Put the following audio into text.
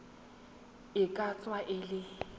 e ka tswa e le